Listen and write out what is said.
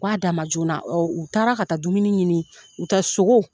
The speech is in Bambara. K'a d'a ma joona u taara ka taa dumuni ɲini u tɛ